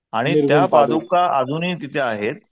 आणि त्या पादुका अजूनही तिथे आहेत.